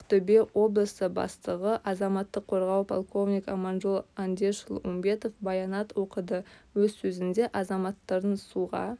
ақтөбе облысы бастығы азаматтық қорғау полковнигі аманжол андешұлы умбетов баянат оқыды өз сөзінде азаматтардың суға